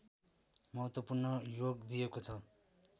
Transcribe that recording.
महत्त्वपूर्ण योग दिएको छ